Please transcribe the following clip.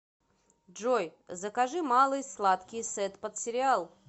джой закажи малый сладкий сет под сериал